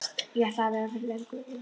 Ég ætlaði að vera fyrir löngu.